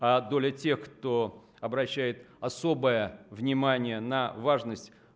а доля тех кто обращает особое внимание на важность